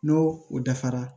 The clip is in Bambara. N'o o dafara